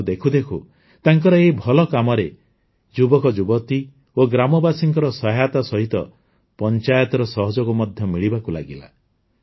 କିନ୍ତୁ ଦେଖୁଦେଖୁ ତାଙ୍କର ଏହି ଭଲ କାମରେ ଯୁବକ ଯୁବତୀ ଓ ଗ୍ରାମବାସୀଙ୍କ ସହାୟତା ସହିତ ପଂଚାୟତର ସହଯୋଗ ମଧ୍ୟ ମିଳିବାକୁ ଲାଗିଲା